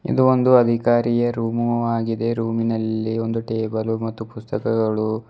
ಇದು ಒಂದು ಅಧಿಕಾರಿಯ ರೂಮು ಆಗಿದೆ ರೂಮಿನಲ್ಲಿ ಒಂದು ಟೇಬಲ್ ಮತ್ತು ಒಂದು ಪುಸ್ತಕಗಳು--